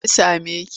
Me ya same ki?